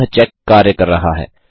अतः यह चेक कार्य कर रहा है